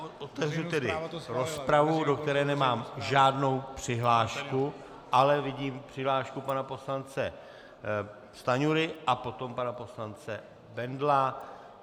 Otevřu tedy rozpravu, do které nemám žádnou přihlášku, ale vidím přihlášku pana poslance Stanjury a potom pana poslance Bendla.